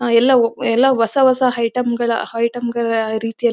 ಆ ಎಲ್ಲ ಎಲ್ಲ ಹೊಸ ಹೊಸ ಐಟಂ ಗಳ ಐಟಂ ಗಳ ರೀತಿಯಲ್ಲಿ--